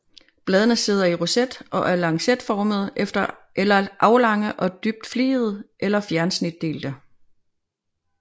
Bladene sidder i roset og er lancetformede eller aflange og dybt fligede eller fjersnitdelte